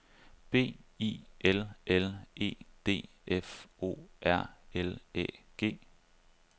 B I L L E D F O R L Æ G